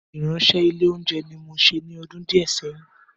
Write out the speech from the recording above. Ìránṣẹ́ ilé oúnjẹ ni mo ṣe ní ọdún díẹ̀ sẹ́yìn